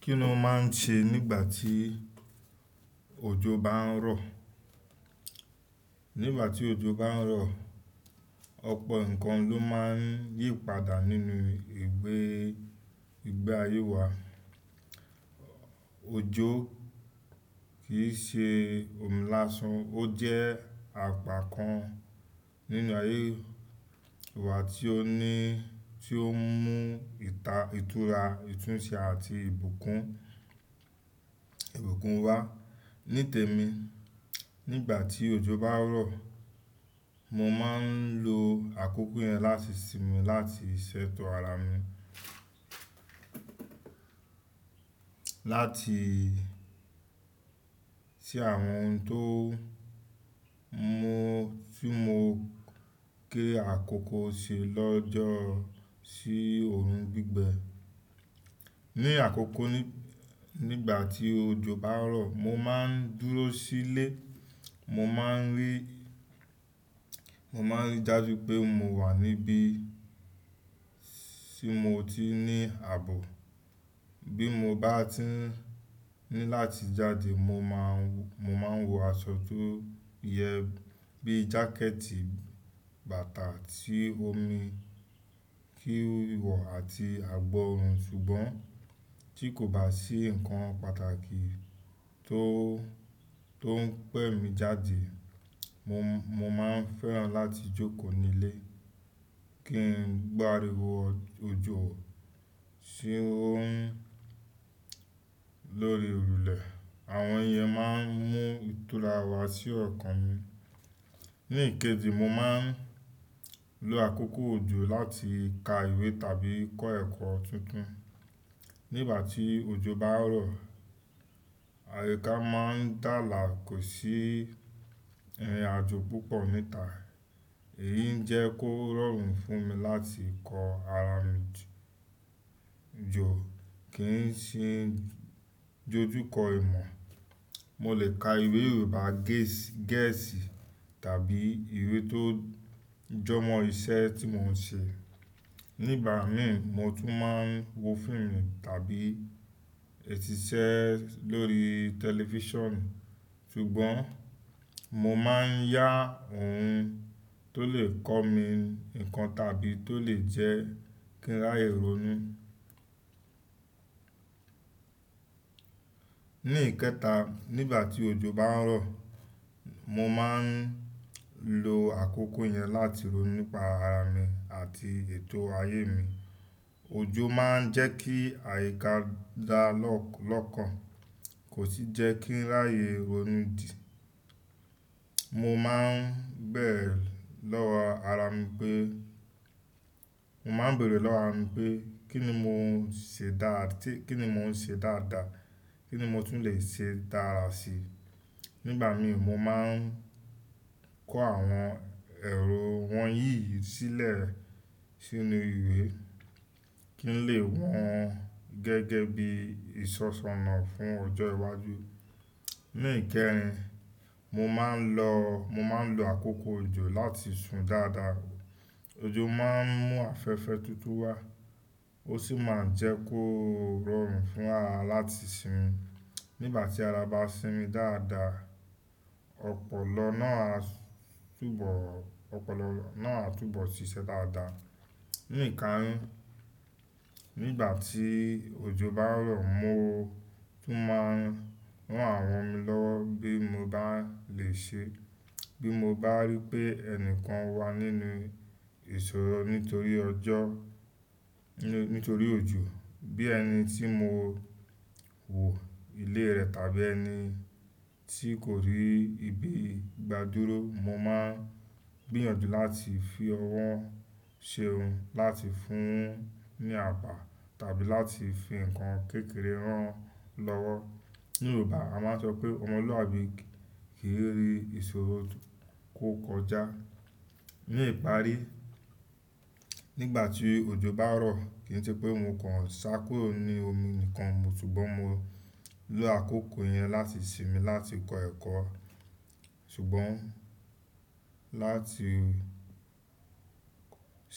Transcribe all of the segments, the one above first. Kí ni o máa ń ṣe nígbà tí ojò bá ń rọ̀? Nígbà tí ojò bá ń rọ̀, ọ̀pọ̀ nǹkan ló máa ń yí padà nínú ìgbé ayé wa. Ojò kì í ṣe òmi láṣan, ó jẹ́ àpá kan nínú ayé wà tí ó ní, tí ó mú ìta, ìtura, ìtúnṣe àti ìbùkún, ìbùkún wá. Nítèmi, nígbà tí ojò bá ń rọ̀, mo máa ń lo àkókò yẹn láti sinmi, láti ṣètò ara mi. Láti sí àwọn ohun tó mu, tí mo gé àkókò ṣe lọ́jọ́ sí òórùn gbígbẹ. Ní àkókò nígbà tí ojò bá ń rọ̀, mo máa ń dúró sílé. Mo máa ń rí, mo máa ń rí dájú pé mo wà níbí tí mo ti ní ààbò. Bí mo bá tí ní láti jáde, mo máa ń, mo máa ń wọ aṣọ tó yẹ bíi jákẹ́ẹ̀tì, bàtà tí ó mi, kí ó le wọ àti àgbọ̀ orun. Ṣùgbọ́n tí kò bá sí nǹkan pàtàkì tó, tó ń pè mí jáde, mo, mo máa ń fẹ́ràn láti jókòó nílé kí n gbáríwọ ojò ṣé ó ń lórí òrùlé. Àwọn iyẹn máa ń mú ìtura wá sí ọ̀kan mi. Ní ìkéji, mo máa ń lo àkókò òjò láti ka ìwé tàbí kọ́ ẹ̀kọ́ tuntun. Nígbà tí ojò bá ń rọ̀, àyíká máa ń dààlà, kò sí àjò púpọ̀ níta. Èyí n jẹ́ kó rọrùn fún mi láti kọ ara mi jò kí n sì dojú kọ ìmọ̀. Mo lè ka ìwé Yorùbá gẹ̀ẹ́sì tàbí ìwé tó jọmọ́ iṣẹ́ tí mò ń ṣe. Nígbà mi, mo tún máa ń wo fíìmù tàbí síṣẹ́ lórí tẹlifíṣàn. Ṣùgbọ́n mo máa ń yá ohun tó lè kọ́ mi nǹkan tàbí tó lè jẹ́ kí n ráyè ronú. Ní ìkéta, nígbà tí ojò bá ń rọ̀, mo máa ń lo àkókò yẹn láti rò nípa ara mi àti ètò ayé mi. Ojò máa ń jẹ́ kí àyíká dà lọ́kàn, kò sì jẹ́ kí n ráyè ronú dì. Mo máa ń bẹ̀erẹ̀ lọ́wọ ara mi pé, mo máa ń bẹ̀erẹ̀ lọ́wọ ara mi pé kí ni mò ń ṣe dá, kí ni mò ń ṣe dáadáa? Kí ni mo tún lè ṣe dára si? Nígbà mi, mo máa ń kọ́ àwọn èrò wọ̀nyí sílẹ̀ sínú ìwé kí n lè wọn gẹ́gẹ́ bí ìsọ̀sọ̀na fún ọjọ́ iwájú. Ní ìkẹrin, mo máa ń lọ, mo máa ń lo àkókò òjò láti sun dáadáa. Ojò máa ń mú afẹ́fẹ́ tuntun wá, ó sì máa ń jẹ́ kó rọrùn fún ara láti sinmi. Nígbà tí ara bá sinmi dáadáa, ọpọlọ náà á túbọ̀, ọpọlọ náà á túbọ̀ ṣiṣẹ́ dáadáa. Ní ìkarun, nígbà tí ojò bá ń rọ̀, mo tún máa ran àwọn mi lọ́wọ́ bí mo bá lè ṣe. Bí mo bá rí pé ẹnikan wà nínú ìṣòro nítorí ọjọ́, nítorí ojò, bí ẹni tí mo wò ilé rẹ̀ tàbí ẹni tí kò rí ibi gbádúró, mo máa gbìyànjú láti fi ọwọ́ ṣe ohun, láti fún un ní àbà tàbí láti fi nǹkan kékeré rán lọ́wọ́. Ní Yorùbá, a máa ń sọ pé ọmọlúàbí kì í rí ìṣòro kó kọjá. Ní ìparí, nígbà tí ojò bá ń rọ̀, kì í ṣe pé mo kàn sá kúrò ní omi nìkan mo, ṣùgbọ́n mo lo àkókò yẹn láti sinmi, láti kọ ẹ̀kọ́. Ṣùgbọ́n láti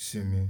sinmi.